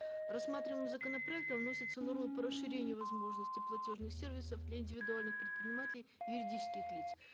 рассматриваемым законопроектом вносится норма по расширению возможности платежных сервисов для индивидуальных предпринимателей юридических лиц